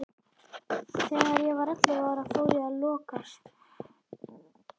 Þegar ég var ellefu ára fór ég að lokast.